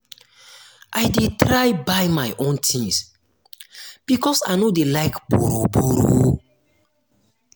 i dey try buy my own tins because i no dey like borrow-borrow.